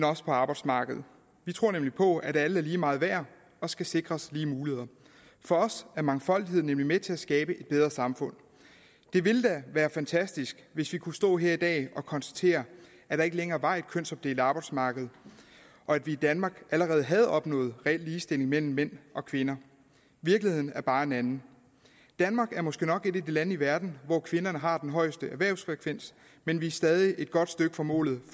også på arbejdsmarkedet vi tror nemlig på at alle er lige meget værd og skal sikres lige muligheder for os er mangfoldighed nemlig med til at skabe et bedre samfund det ville da være fantastisk hvis vi kunne stå her i dag og konstatere at der ikke længere var et kønsopdelt arbejdsmarked og at vi i danmark allerede havde opnået reel ligestilling mellem mænd og kvinder virkeligheden er bare en anden danmark er måske nok et af de lande i verden hvor kvinderne har den højeste erhvervsfrekvens men vi er stadig et godt stykke fra målet